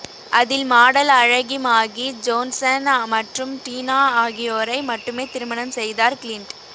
அதில் மாடல் அழகி Maggie Johnson மற்றும் டினா ஆகியோரை மட்டுமே திருமணம் செய்தார் கிளின்ட்